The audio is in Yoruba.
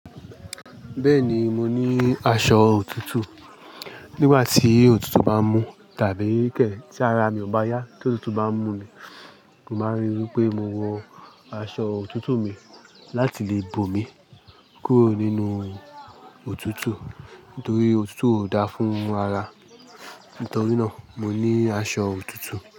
Bẹ́ẹ̀ ni, mo ní aṣọ òtútù. Nígbà tí òtútù bá mú tàbí kẹ̀ tí ara mi ò bá yá tí òtútù bá mú mi, mo máa ń ríi wí pé mo wọ aṣọ òtútù mi láti lè bò mí kúrò nínú òtútù nitorí òtútù ò da fún ara. Nítorí náà, mo ní aṣọ òtútù.